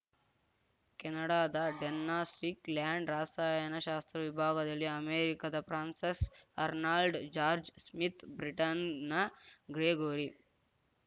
ಕೆನಡಾದ Donna Strickland ರಸಾಯನ ಶಾಸ್ತ್ರ ವಿಭಾಗದಲ್ಲಿ ಅಮೆರಿಕದ ಫ್ರಾನ್ಸಸ್‌ ಅರ್ನಾಲ್ಡ್‌ ಜಾರ್ಜ್ ಸ್ಮಿತ್‌ ಬ್ರಿಟನ್‌ನ ಗ್ರೆಗೋರಿ